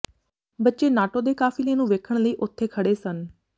ਬੱਚੇ ਨਾਟੋ ਦੇ ਕਾਿਫ਼ਲੇ ਨੂੰ ਵੇਖਣ ਲਈ ਉੱਥੇ ਖੜ੍ਹੇ ਸਨ